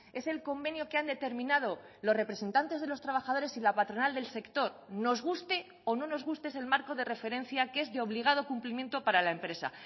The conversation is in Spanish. es el convenio que han determinado los representantes de los trabajadores y la patronal del sector nos guste o no nos guste es el marco de referencia que es de obligado cumplimiento para la empresa